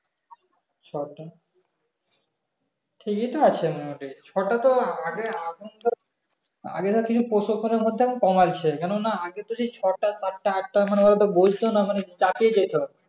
ছো টা ঠিকি তো আছে ওটাই ছো টা তো আগে আগে না কিছু প্র মধ্যে কামাই ছে কেনোনা আগে তো সেই ছো টা পাঁচ টা আট টা মানে বসতো না চাকি যেতো